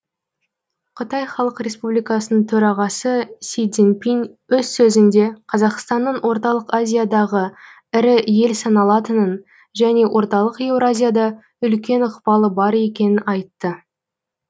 қытай халық республикасы төрағасы си цзиньпин өз сөзінде қазақстанның орталық азиядағы ірі ел саналатынын және орталық еуразияда үлкен ықпалы бар екенін айтты